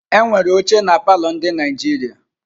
Enwere óchè na palọ ndị Naijiria.